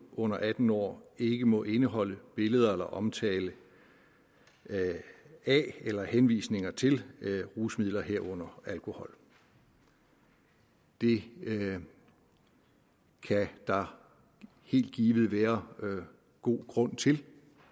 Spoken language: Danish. under atten år ikke må indeholde billeder af eller omtale af eller henvisninger til rusmidler herunder alkohol det kan der helt givet være god grund til